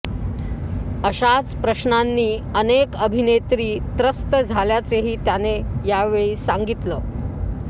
अशाच प्रश्नांनी अनेक अभिनेत्री त्रस्त झाल्याचेही त्याने यावेळी सांगितलं